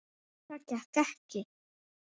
Það gekk ekki.